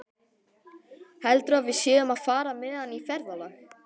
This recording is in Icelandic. Heldurðu að við séum að fara með hann í ferðalag?